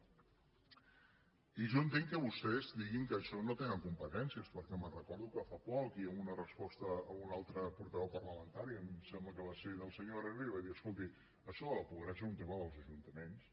i jo entenc que vostès diguin que en això no tenen competències perquè me’n recordo que fa poc i en una resposta a un altre portaveu parlamentari em sembla que va ser al senyor herrera li va dir escolti això de la pobresa és un tema dels ajuntaments